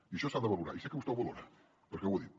i això s’ha de valorar i sé que vostè ho valora perquè ho ha dit